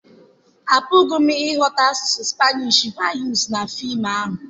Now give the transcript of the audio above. Apụghị m ịghọta asụsụ Spanish vused na fim ahụ.